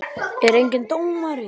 Er enginn dómari?